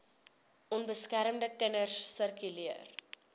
onbeskermde kinders sirkuleer